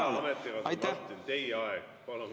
Hea ametikaaslane Martin, teie aeg!